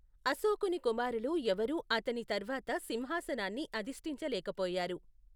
అశోకుని కుమారులు ఎవరూ అతని తర్వాత సింహాసనాన్ని అధిష్టించలేకపోయారు.